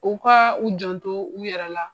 U ka u janto u yɛrɛ la